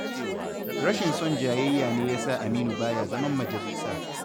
Rashin son jayayya ne ya sa Aminu baya zaman majalisa.